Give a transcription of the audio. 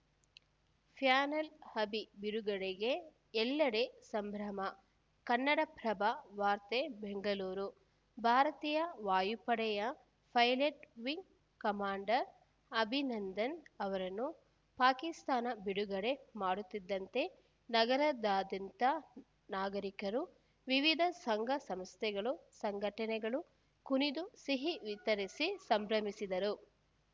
panel Abhi ಬಿಡುಗಡೆಗೆ ಎಲ್ಲೆಡೆ ಸಂಭ್ರಮ ಕನ್ನಡಪ್ರಭ ವಾರ್ತೆ ಬೆಂಗಳೂರು ಭಾರತೀಯ ವಾಯುಪಡೆಯ ಪೈಲಟ್‌ ವಿಂಗ್‌ ಕಮಾಂಡರ್‌ ಅಭಿನಂದನ್‌ ಅವರನ್ನು ಪಾಕಿಸ್ತಾನ ಬಿಡುಗಡೆ ಮಾಡುತ್ತಿದ್ದಂತೆ ನಗರದಾದ್ಯಂತ ನಾಗರಿಕರು ವಿವಿಧ ಸಂಘ ಸಂಸ್ಥೆಗಳು ಸಂಘಟನೆಗಳು ಕುಣಿದು ಸಿಹಿ ವಿತರಿಸಿ ಸಂಭ್ರಮಿಸಿದರು